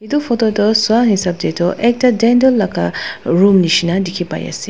etu photo toh sa hisab te toh ekta dental laga room nishe na dikhi pai ase.